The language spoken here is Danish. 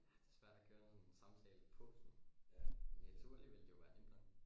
Ja det svært at sådan køre en samtale på sådan naturligt ville det jo være nemt nok